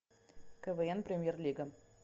квн премьер лига